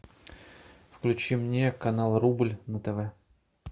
включи мне канал рубль на тв